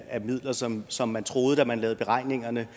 af midler som som man troede da man lavede beregningerne